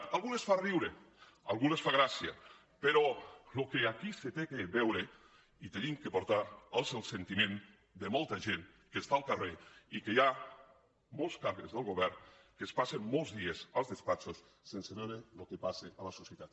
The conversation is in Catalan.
a alguns els fa riure a alguns els fa gràcia però el que aquí s’ha de veure i hem d’aportar és el sentiment de molta gent que està al carrer i que hi ha molts càrrecs del govern que es passen molts dies als despatxos sense veure el que passa a la societat